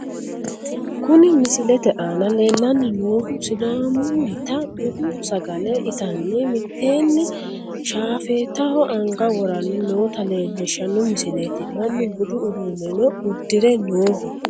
Kuni misilete aana leellanni noohu sidaamunnita budu sagale itanni mittteenni shaafeetaho anga woranni noota leelishshanno misileeti, mannu budu uduunneno uddire nooho.